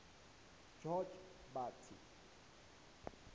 jotbatha